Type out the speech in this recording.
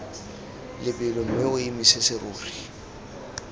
lebelo mme o emise serori